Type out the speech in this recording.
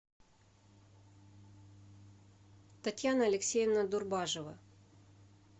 татьяна алексеевна дурбажева